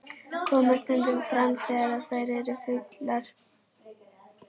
Koma stundum fram þegar þær eru fullar.